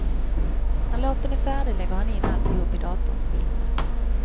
När låten är färdig lägger han in alltihop i datorns minne.